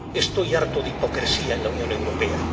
Estoy harto de hipocresía en la Unión Europea.